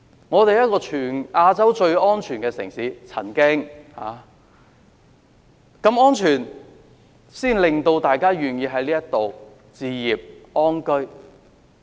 我們曾經是全亞洲最安全的城市，我相信這是一個根本，令大家願意在這裏置業安居。